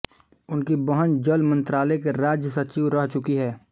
उनकी बहन जल मंत्रालय की राज्य सचिव रह चुकी हैं